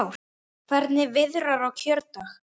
Hvernig viðrar á kjördag?